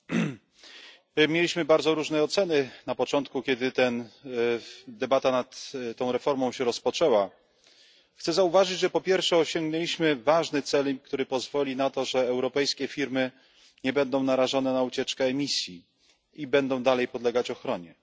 Pani Przewodnicząca! Mieliśmy bardzo różne oceny na początku, kiedy debata nad tą reformą się rozpoczęła. Chcę zauważyć, że po pierwsze, osiągnęliśmy ważny cel, który pozwoli na to, że europejskie firmy nie będą narażone na ucieczkę emisji i będą dalej podlegać ochronie.